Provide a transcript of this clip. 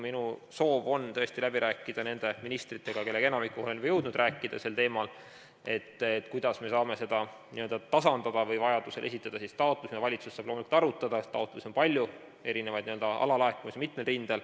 Minu soov on tõesti läbi rääkida ministritega, kellest enamikuga olen juba jõudnud rääkida sel teemal, kuidas me saame seda n-ö tasandada või kuidas vajaduse korral saab taotlust esitada, mida valitsus saab arutada, taotlusi on palju, erinevaid n-ö alalaekumisi on mitmel rindel.